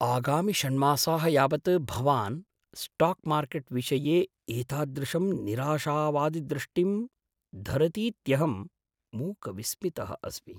आगामि षण्मासाः यावत भवान् स्टाक्मार्केट् विषये एतादृशं निराशावादिदृष्टिं धरतीत्यहं मूकविस्मितः अस्मि।